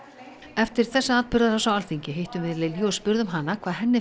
eftir þessa atburðarás á Alþingi hittum við Lilju og spurðum hana hvað henni